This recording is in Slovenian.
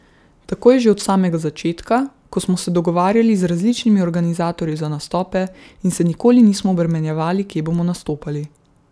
Tako je že od samega začetka, ko smo se dogovarjali z različnimi organizatorji za nastope in se nikoli nismo obremenjevali, kje bomo nastopali.